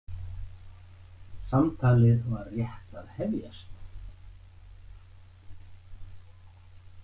Samtalið var rétt að hefjast.